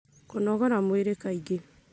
Kũnogora mwĩrĩ kaingĩ,